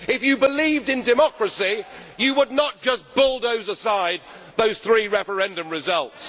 If you believed in democracy, you would not just bulldoze aside those three referendum results.